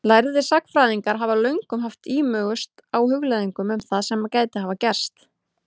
Lærðir sagnfræðingar hafa löngum haft ímugust á hugleiðingum um það sem gæti hafa gerst.